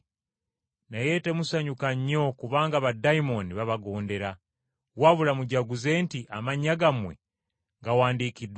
Naye temusanyuka nnyo kubanga baddayimooni babagondera, wabula mujaguze nti amannya gammwe gawandiikiddwa mu ggulu.”